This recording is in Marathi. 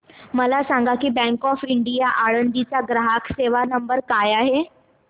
मला सांगा बँक ऑफ इंडिया आळंदी चा ग्राहक सेवा नंबर काय आहे